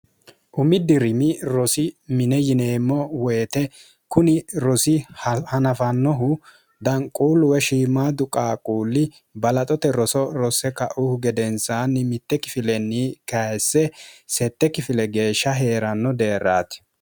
umiddi rimi rosi mine yineemmo woyite kuni rosi hanafannohu danquulluwe shiimaadu qaaquulli balaxote roso rosse kauhu gedensaanni mitte kifilenni kayisse sette kifile geeshsha hee'ranno deerraati